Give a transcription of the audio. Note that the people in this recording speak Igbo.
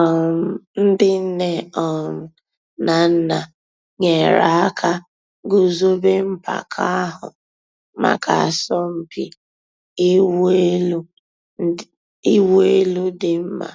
um Ǹdí nnè um nà nnà nyèrè àkà gùzòbè mpàka àhụ̀ mǎká àsọ̀mpị̀ ị̀wụ̀ èlù dì́ mma